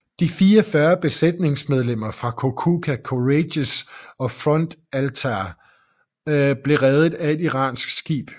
De 44 besætningsmedlemmer fra Kokuka Courageous og Front Altair blev reddet af et iransk skib